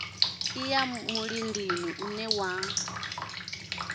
i ya mulindini une wa